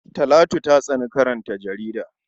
Talatu ta tsani karanta jarida.